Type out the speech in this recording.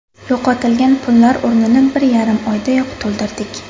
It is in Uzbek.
Yo‘qotilgan pullar o‘rnini bir yarim oydayoq to‘ldirdik.